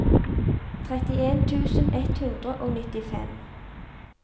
trettien tusen ett hundre og nittifem